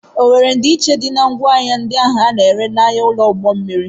ọ were ndiiche dị na ngwaahịa a na-ere n'ụlọ ahịa ụgbọ mmiri?